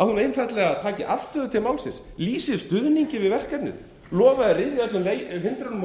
að hún einfaldlega taki afstöðu til málsins lýsi stuðningi við verkefnið lofi að ryðja öllum hindrunum úr